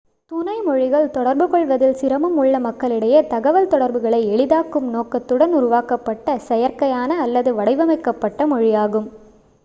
துணை மொழிகள் தொடர்புகொள்வதில் சிரமம் உள்ள மக்களிடையே தகவல் தொடர்புகளை எளிதாக்கும் நோக்கத்துடன் உருவாக்கப்பட்ட செயற்கையான அல்லது வடிவமைக்கப்பட்ட மொழியாகும்